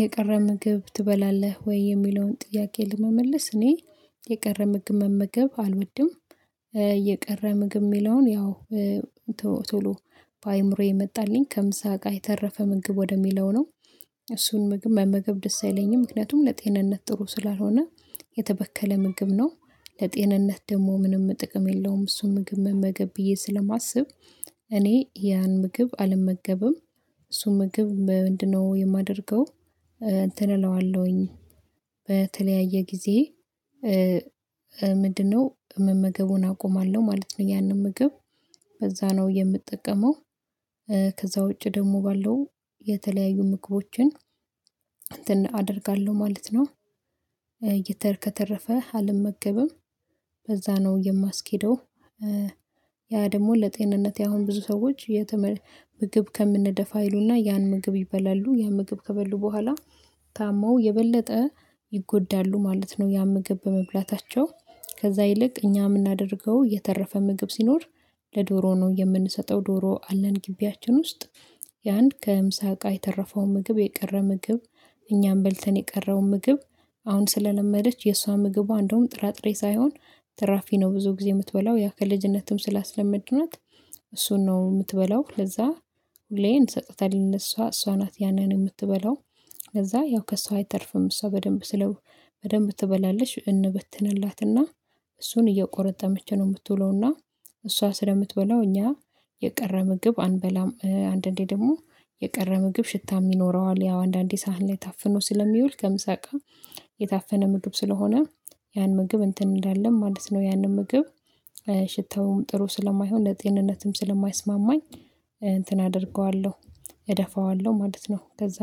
የቀረ ምግብ ትበላለህ ወይ የሚለውን ጥያቄ ለመመለስ እኔ የቀረ ምግብ መመገብ አልወድም። የቀረ ምግብ የሚለውን ያው ቶሎ በአእምሮዬ የመጣልኝ ከምሳ እቃ የተረፈ ምግብ ወደሚለው ነው። እሱን ምግብ መመገብ ደስ አይለኝም ምክንያቱም ለጤንነት ጥሩ ስላልሆነ የተበከለ ምግብ ነው። ለጤንነት ደግሞ ምንም ጥቅም የለውም እሱን ምግብ መመገብ ብዬ ስለማስብ። እኔ ያን ምግብ አልመገብም። እርሱን ምግብ ምንድነው የማደርገው? እንትንእለዋለሁኝ በተለያየ ጊዜ ምንድነው መመገቡን አቆማለሁ ማለት ነው። ያንን ምግብ በዛ ነው የምጠቀመው። ከዛ ውጪ ደግሞ ባለው የተለያዩ ምግቦችን አደርጋለሁ ማለት ነውከተረፈ አልመገብም። በዛ ነው የማስኬደው። ያ ደግሞ ለጤንነት አሁን ብዙ ሰዎች ምግብ ከምንደፋ ይላ ያን ምግብ ይበላሉ ያ ምግብ ከበሉ በኋላ ታመው የበለጠ ይጎዳሉ ማለት ነው። ያ ምግብ በመብላታቸው ከዛ ይልቅ እኛ የምናደርገው የተረፈ ምግብ ሲኖር ለዶሮ ነው የምንሰጠው ዶሮ አለን ግቢያችን ውስጥ። የአንድ ከምሳ እቃ የተረፈው ምግብ የቀረ ምግብ እኛም በልተን የቀረው ምግብ። አሁን ስለለመደች የእሷ ምግቧ እንደውም ጥራጥሬ ሳይሆን ትራፊ ነው ብዙ ጊዜ የምትበላው ያ ከልጅነትም ስላስለመድናት። እሱን ነው የምትበላው ለዛ ሁሌ እንሰጣታለን ለሷ እሷ ናት ያንን የምትበላው። ለዛ ያው ከሰው አይተርፍም እሷ በደንብ ስለ በደንብ ትበላለሽ እንበትንላትና እሱን እየቆረጠ ነው የምትውለውና እሷ ስለምትበላው እኛ የቀረ ምግብ አንበላም። አንዳንዴ ደግሞ የቀረ ምግብ ሽታ ይኖረዋል ያው አንዳንዴ ሳህን ላይ ታፍኖ ስለሚውል ከምሳቅ የታፈነ ምግብ ስለሆነ ያን ምግብ እንትን እንዳለም ማለት ነው። ያንን ምግብ ሽታውም ጥሩ ስለማይሆን ለጤንነትም ስለማይስማማኝ እንትን አደርገዋለሁ እደፋዋለሁ ማለት ነው። ከዛ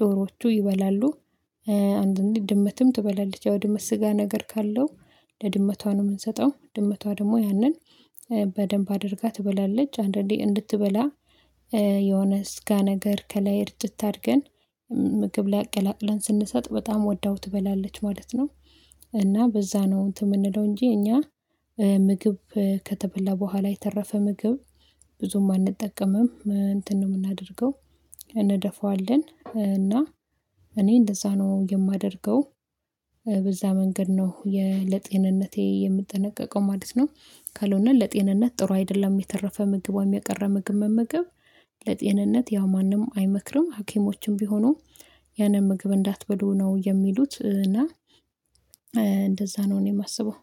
ዶሮዎቹ ይበላሉ። አንድ እንዴ ድመትም ትበላለች ያው ድመት ስጋ ነገር ካለው ለድመቷ ነው የምንሰጠው ድመቷ ደግሞ ያንን በደንብ አድርጋ ትበላለች። አንዳንዴ እንድትበላ የሆነ ስጋ ነገር ከላይ እርጅት አድርገን ምግብ ላይ አቀላቅለን ስንሰጥ በጣም ወዳው ትበላለች ማለት ነው። እና በዛ ነው እንትን የምንለው እንጂ እኛ ምግብ ከተበላ በኋላ የተረፈ ምግብ ብዙም አንጠቀምም። እንትን ነው የምናደርገው እንደፋዋለን እና እኔ እንደዛ ነው የማደርገው። በዛ መንገድ ነው ለጤንነቴ የምጠነቀቀው ማለት ነው። ካልሆነ ለጤንነት ጥሩ አይደለም የተረፈ ምግቧ የሚያቀረ ምግብ መመገብ ለጤንነት ያው ማንም አይመክርም ሀኪሞችም ቢሆኑ ያንን ምግብ እንዳትበዱ ነው። የሚሉት እና እንደዛ ነው እኔ የማስበው